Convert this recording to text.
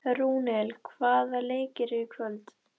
Rúnel, hvaða leikir eru í kvöld?